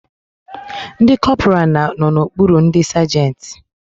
Ndi kọpura no n'okpuru ndi sagenti